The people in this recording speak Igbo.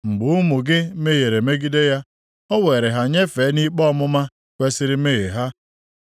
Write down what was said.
Mgbe ụmụ gị mehiere megide ya, o weere ha nyefee nʼikpe ọmụma kwesiri mmehie ha.